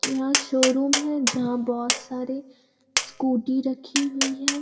यहाँ शोरूम है। जहां बोहोत सारे स्कूटी रखी हुई है।